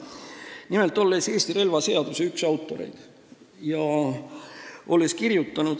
Olen nimelt ühe kõige liberaalsema Eesti relvaseaduse üks autoreid.